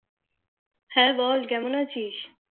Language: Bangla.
হ্যাঁ বল কেমন আছিস?